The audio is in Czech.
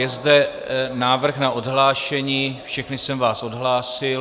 Je zde návrh na odhlášení, všechny jsem vás odhlásil.